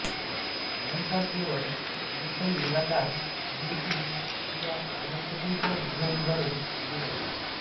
अलंकार केवळ सुलेखन निराकार भूमितीय किंवा वनस्पतींच्या डिझाइनद्वारे केले जाते